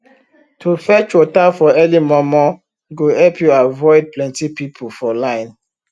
to fetch water for early momo go help u avoid plenty people for line